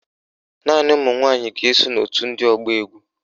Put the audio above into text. Naanị ụmụnwanyị ga-eso n'òtù ndị ọgba égwú